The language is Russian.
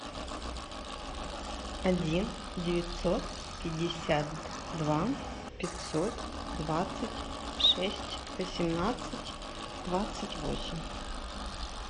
один девятьсот пятьдесят два пятьсот двадцать шесть восемнадцать двадцать восемь